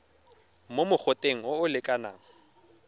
mo mogoteng o o lekanang